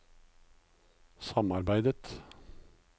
samarbeidet